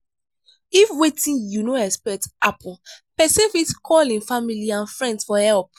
if wetin you no expect happen person fit call im family and friends for help